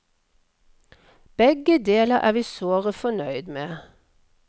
Begge deler er vi såre fornøyd med.